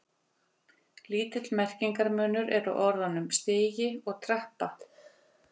Lítill merkingarmunur er á orðunum stigi og trappa.